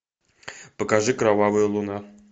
покажи кровавая луна